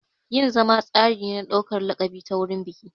Yin zama tsari ne na ɗaukar laƙabi ta wurin biki.